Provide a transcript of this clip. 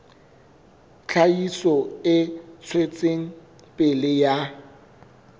tlhahiso e tswetseng pele ya